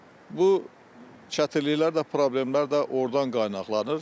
Bu çətinliklər də, problemlər də ordan qaynaqlanır.